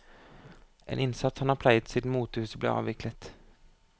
En innsats han har pleiet siden motehuset ble avviklet.